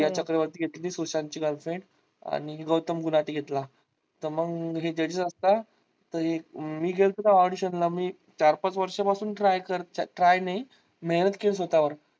सुशांत ची girlfriend आणि गौतम गुलाटी घेतला तर मग हे judges असतात तर मी गेल्तो तवा audition ला मी चार पाच वर्षा पासून try कर try नाही मेहनत केली स्वतःवर.